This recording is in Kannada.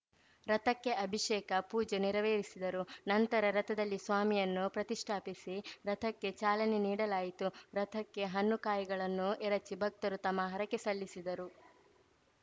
ರಥಕ್ಕೆ ಅಭಿಷೇಕ ಪೂಜೆ ನೆರವೇರಿಸಿದರು ನಂತರ ರಥದಲ್ಲಿ ಸ್ವಾಮಿಯನ್ನು ಪ್ರತಿಷ್ಠಾಪಿಸಿ ರಥಕ್ಕೆ ಚಾಲನೆ ನೀಡಲಾಯಿತು ರಥಕ್ಕೆ ಹಣ್ಣುಕಾಯಿಗಳನ್ನು ಎರಚಿ ಭಕ್ತರು ತಮ್ಮ ಹರಕೆ ಸಲ್ಲಿಸಿದರು